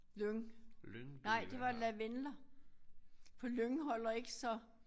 Lyng nej det var lavendler for lyng holder ikke så